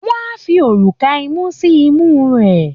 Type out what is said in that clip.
Wọ́n á fi òrùka imú sí imú rẹ̀